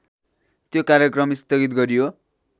त्यो कार्यक्रम स्थगित गरियो।